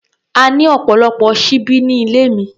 A ní ọ̀pọ̀lọpọ̀ ṣíbí ní ilé mi.